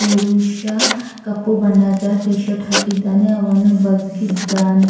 ಪುರುಷ ಕಪ್ಪು ಬಣ್ಣದ ಟೀಶರ್ಟ್ ಹಾಕಿದ್ದಾನೆ ಅವನು ಬಗ್ಗಿದ್ದಾನೆ .